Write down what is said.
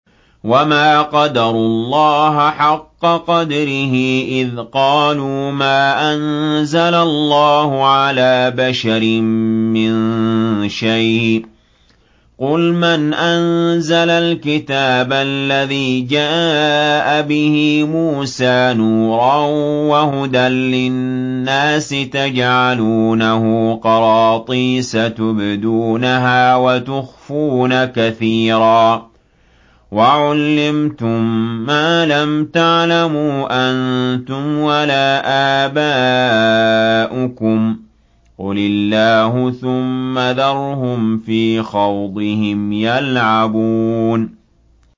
وَمَا قَدَرُوا اللَّهَ حَقَّ قَدْرِهِ إِذْ قَالُوا مَا أَنزَلَ اللَّهُ عَلَىٰ بَشَرٍ مِّن شَيْءٍ ۗ قُلْ مَنْ أَنزَلَ الْكِتَابَ الَّذِي جَاءَ بِهِ مُوسَىٰ نُورًا وَهُدًى لِّلنَّاسِ ۖ تَجْعَلُونَهُ قَرَاطِيسَ تُبْدُونَهَا وَتُخْفُونَ كَثِيرًا ۖ وَعُلِّمْتُم مَّا لَمْ تَعْلَمُوا أَنتُمْ وَلَا آبَاؤُكُمْ ۖ قُلِ اللَّهُ ۖ ثُمَّ ذَرْهُمْ فِي خَوْضِهِمْ يَلْعَبُونَ